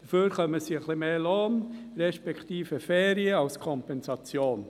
Dafür erhalten sie ein bisschen mehr Lohn respektive Ferien als Kompensation.